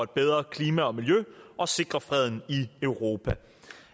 et bedre klima og miljø og sikre freden i europa